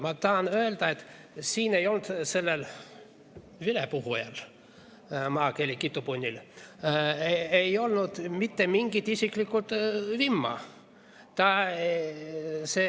Ma tahan öelda, et siin ei olnud sellel vilepuhujal, maakeeli kitupunnil, mitte mingit isiklikku vimma.